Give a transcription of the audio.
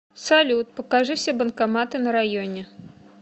салют покажи все банкоматы на районе